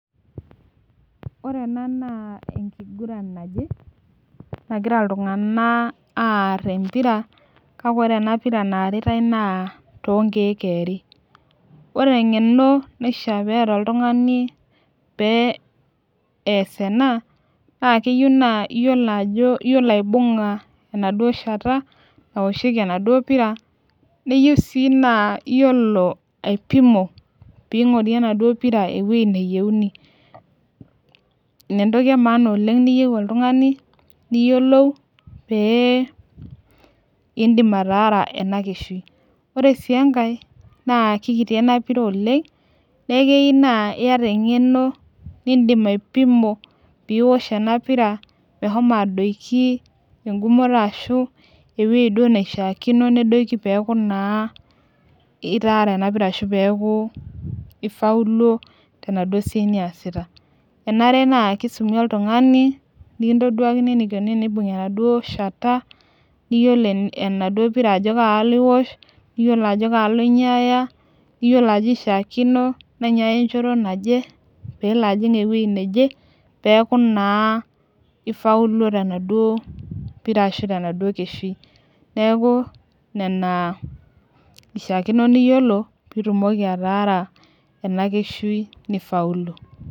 Ore ena naa enkiguran naje nagira iltunganak aar empira. kake ore ena pira naaritae naa toonkeek eeri. ore engeno naishaa peeta oltungani pee ees ena. naa keyieu naa iyiolo aibung'a enaduoo shata naoshieki enaduoo pira. neyiu sii naa iyiolo aipimo pee ingorie enaduoo pira ewueji neiyeuni. ina entoki emaana oleng niyieu oltungani. niyiolou pee iidim ataasa ena keshul. ore sii enkae naa kikiti ena pira oleng neeku keyieu naa iyata engeno. nidim aipimo pee iosh ena pira meshomo adoikie egumoto ashu ewueji duo neishaakino nedoiki peeku naa itaara ena pira ashu peeku iafuluo tenaduoo siai niasita. enare naa kisumi oltungani. nikintoduakini enikoni tenibungi enaduoo shata. niyiolo enaduoo pira ajo kalo iosh. iyiolo ajo kalo inyiaya. iyiolo ajo kaji ishaakino nainyiaya enchoto naje. peelo ajing ewueji neje. peeku naa ifauluo tenaduoo pira ashu tenaduoo keshui. neeku, Nena ishaakino niyiolo pee itumoki atara ena keshui nifaulu.